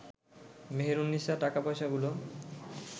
মেহেরুননিসা টাকা পয়সাগুলো